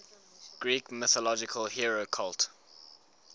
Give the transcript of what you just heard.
greek mythological hero cult